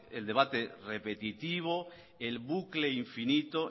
el debate repetitivo el bucle infinito